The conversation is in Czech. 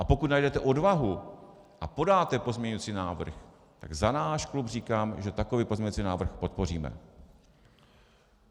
A pokud najdete odvahu a podáte pozměňovací návrh, tak za náš klub říkám, že takový pozměňovací návrh podpoříme.